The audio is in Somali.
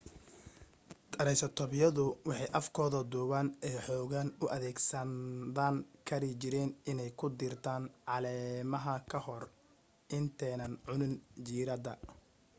taraysatoobyadu waxay afkooda dhuuban ee xooggan u adeegsan kari jireen inay ku diirtaan caleemaha ka hor intanaay cunin jiradda